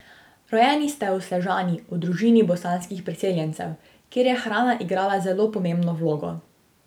Rojeni ste v Sežani v družini bosanskih priseljencev, kjer je hrana igrala zelo pomembno vlogo.